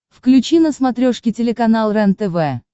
включи на смотрешке телеканал рентв